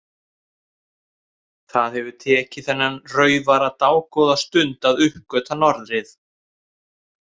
Það hefur tekið þennan raufara dágóða stund að uppgötva norðrið.